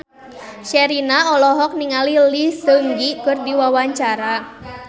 Sherina olohok ningali Lee Seung Gi keur diwawancara